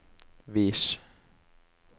vis